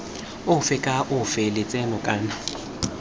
ofe kana ofe lotseno kana